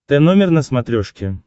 тномер на смотрешке